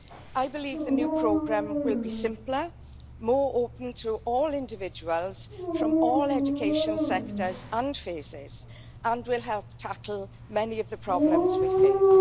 I believe the new programme will be simpler, more open to all individuals from all education sectors and phases, and will help tackle many of the problems we face.